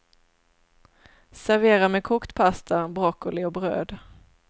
Servera med kokt pasta, broccoli och bröd.